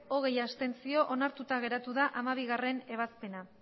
hogei abstentzio onartuta geratu da hamabiebazpena